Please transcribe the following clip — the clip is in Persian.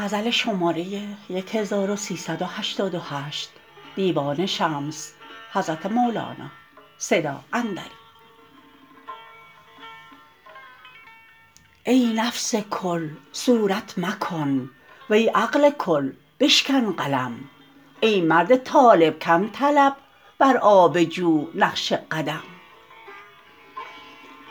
ای نفس کل صورت مکن وی عقل کل بشکن قلم ای مرد طالب کم طلب بر آب جو نقش قدم